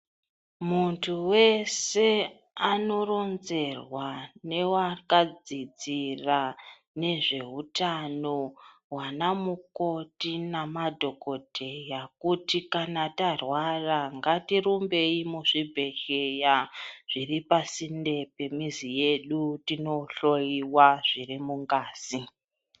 Muntu wese anoronzerwa newakadzidzira nezveutano, wana mukoti nemadhokodheya, kuti kana tarwara ngatirumbeyi muzvibhedhleya, zviri pasinde nemizi yedu, tindohliyiwa zviri mungazi.